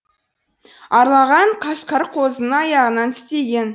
қасқыр қозының аяғынан тістеген